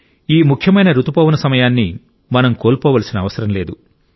ఈ ముఖ్యమైన రుతుపవన సమయాన్ని మనం కోల్పోవలసిన అవసరం లేదు